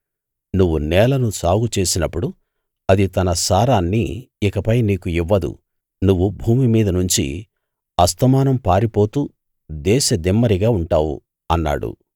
నువ్వు నేలను సాగు చేసినప్పుడు అది తన సారాన్ని ఇకపై నీకు ఇవ్వదు నువ్వు భూమి మీద నుంచి అస్తమానం పారిపోతూ దేశదిమ్మరిగా ఉంటావు అన్నాడు